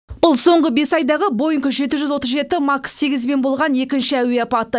бұл соңғы бес айдағы боинг жеті жүз отыз жеті макс сегізбен болған екінші әуе апаты